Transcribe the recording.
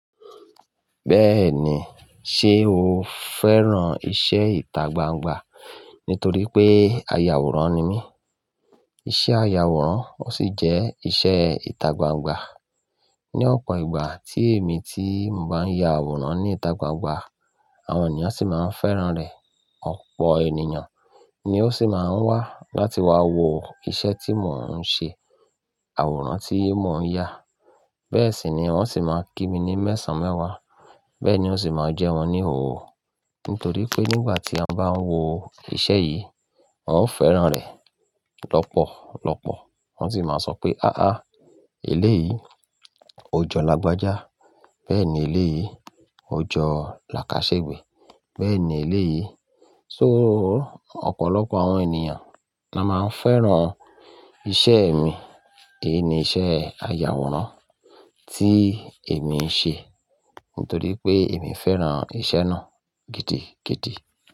Bẹ́ẹ̀ni, ṣe o fẹ́ran iṣẹ́ ìtagbangba? Nítorí pé ayàwòrán ni mí. Iṣẹ́ ayàwòrán ó sì jẹ́ iṣẹ́ ìtagbangba. Ni ọ̀pọ̀ ìgbà tí èmi tí mo bá ń ya àwòrán ní ìtagbangba, àwọn ènìyàn sì máa ń fẹ́ran rẹ̀. Ọ̀pọ̀ ènìyàn ni ó sì máa ń wá láti wá wo iṣẹ́ tí mò ń ṣe, àwòrán tí mò ń ya. Bẹ́ẹ̀ sì ni wọ́n sì máa ń kí mi ní mẹ́sàn-án mẹ́wàá. Bẹ́ẹ̀ ni ó sì máa ń jẹ́ wọn ní hò. Nítorí pé nígbà tí a bá ń wo iṣẹ́ yìí, ó fẹ́ran rẹ̀ lọ́pọ̀lọ́pọ̀. Wọ́n sì máa sọ pé, "áá eléyìí, ó jọ làgbájá. Bẹ́ẹ̀ ni eléyìí, ó jọ làkáṣẹ́gbe. Bẹ́ẹ̀ ni eléyìí." So, ọ̀pọ̀lọpọ̀ àwọn ènìyàn la máa ń fẹ́ran iṣẹ́ mi. Èyí ni iṣẹ́ ayàwòrán tí èmi ń ṣe. Nítorí pé èmi fẹ́ran iṣẹ́ náà gidigidi.